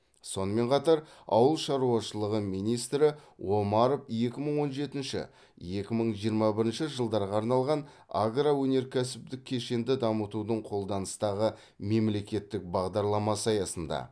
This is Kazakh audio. сонымен қатар ауыл шаруашылығы министрі омаров екі мың он жетінші екі мың жиырма бірінші жылдарға арналған агроөнеркәсіптік кешенді дамытудың қолданыстағы мемлекеттік бағдарламасы аясында